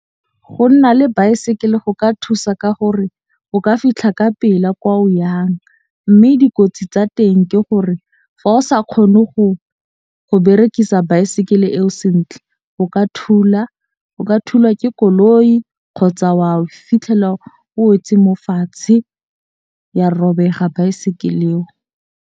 Go nna le baesekele go ka thusa ka gore o ka fitlha ka pela kwa o yang. Mme dikotsi tsa teng ke gore fa o sa kgone go berekisa baesekele eo sentle, o ka thula, o ka thulwa ke koloi kgotsa wa o fitlhela o wetse mo fatshe ya robega baesekele e o.